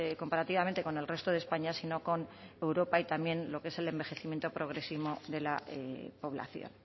comparativamente con el resto de españa sino con europa y también lo que es el envejecimiento progresivo de la población